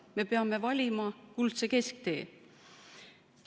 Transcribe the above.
Me peame valima kuldse kesktee.